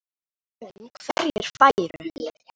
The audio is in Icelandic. Rætt var um hverjir færu.